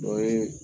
Dɔ ye